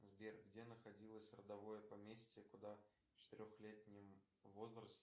сбер где находилось родовое поместье куда в четырехлетнем возрасте